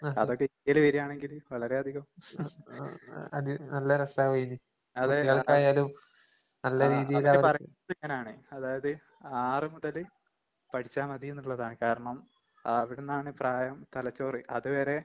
അതൊക്കിന്ത്യേല് വരാണെങ്കില് വളരെയധികം ആഹ്‌ അവര് പറഞ്ഞതിങ്ങനാണ് അതായത് ആറ് മുതല് പഠിച്ചാ മതീന്ന്ള്ളതാണ്. കാരണം അവിടന്നാണ് പ്രായം തലച്ചോറ്. അത് വരെ